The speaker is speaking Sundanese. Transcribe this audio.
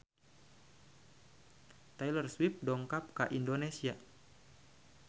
Taylor Swift dongkap ka Indonesia